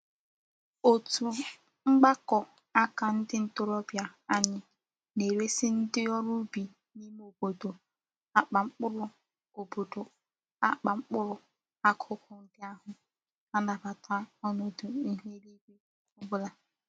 Otu mgbako aka ndi ntorobia anyi na-eresi ndi órú ubi n'ime obodo akpa mkpuru obodo akpa mkpuru akuku ndi ahu na-anabata onodu ihu elu igwe obula.